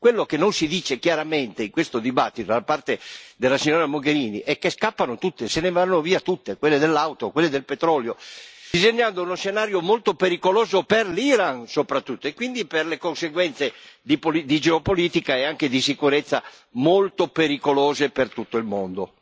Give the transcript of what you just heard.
Quello che non si dice chiaramente, in questo dibattito, da parte della signora Mogherini, è che scappano tutte, se ne vanno via tutte, quelle dell'auto, quelle del petrolio, disegnando uno scenario molto pericoloso per l'Iran, soprattutto, e quindi per le conseguenze di geopolitica e anche di sicurezza molto pericolose per tutto il mondo.